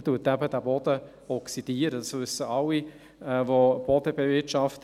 Dies wissen alle in diesem Saal, welche Boden bewirtschaften.